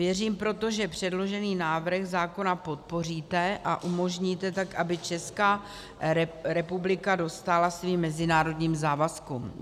Věřím proto, že předložený návrh zákona podpoříte a umožníte tak, aby Česká republika dostála svým mezinárodním závazkům.